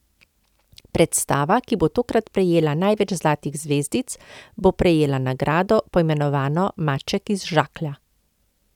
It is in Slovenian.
Predstava, ki bo tokrat prejela največ zlatih zvezdic, bo prejela nagrado, poimenovano maček iz žaklja.